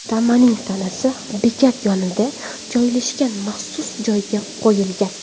Tamaning tanasi bekat yonida joylashgan maxsus joyga qo‘yilgan.